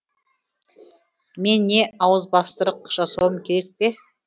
мен не ауызбастырық жасауым керек пе